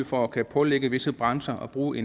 for at kunne pålægge visse brancher at bruge